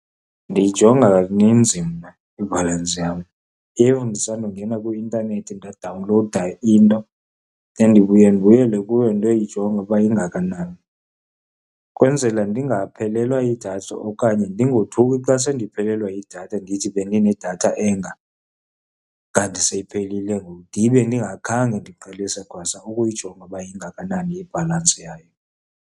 Ndiyijonga kaninzi mna ibhalansi yam. If ndisandongena kwi-intanethi ndadawunlowuda into, then ndibuye ndibuyele kuyo ndiyoyijonga uba ingakanani. Ukwenzela ndingaphelelwa yidatha okanye ndingothuki xa sendiphelelwa yidatha, ndithi bendinedatha enga kanti seyiphelile ngoku, ndibe ndingakhange ndiqalise kwasa ukuyijonga uba ingakanani ibhalansi yayo.